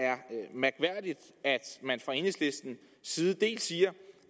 man fra enhedslistens side siger